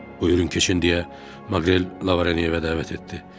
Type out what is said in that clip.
Buyurun keçin deyə, Manqrel Lavanyanı evə dəvət etdi.